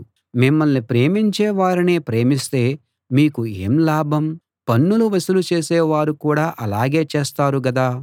మిమ్మల్ని ప్రేమించే వారినే ప్రేమిస్తే మీకు ఏం లాభం పన్నులు వసూలు చేసేవారు కూడా అలాగే చేస్తారు గదా